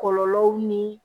Kɔlɔlɔw ni